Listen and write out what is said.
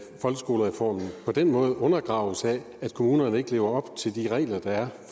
folkeskolereformen på den måde undergraves af at kommunerne ikke lever op til de regler der er